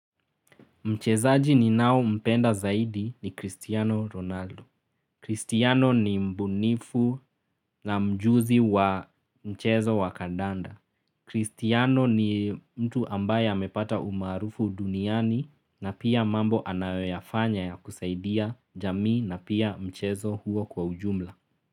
Mchezaji ni nao mpenda zaidi ni Cristiano Ronaldo. Cristiano ni mbunifu na mjuzi wa mchezo wa kadanda. Cristiano ni mtu ambaye amepata umarufu duniani na pia mambo anayofanya ya kusaidia jamii na pia mchezo huo kwa ujumla.